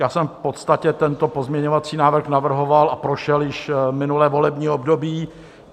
Já jsem v podstatě tento pozměňovací návrh navrhoval a prošel již minulé volební období.